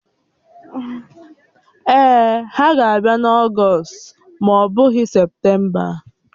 Èè, ha ga-abịa n'Ọgst ma ọ bụghị Septemba